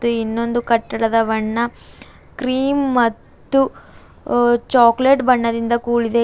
ಇನ್ನೆಂದೂ ಕಟ್ಟಡದ ಬಣ್ಣ ಕ್ರೀಮ್ ಮತ್ತು ಅ ಚಾಕ್ಲೇಟ್ ಬಣ್ಣದಿಂದ ಕೂಡಿದೆ.